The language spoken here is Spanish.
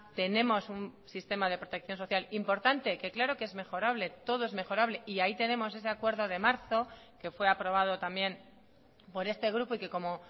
tenemos un sistema de protección social importante que claro que es mejorable todo es mejorable y ahí tenemos ese acuerdo de marzo que fue aprobado también por este grupo y que como